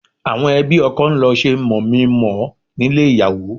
Àwọn ẹbí ọkọ ń lọ ṣe mọ̀mí-n-mọ̀-ọ́ nílé ìyàwó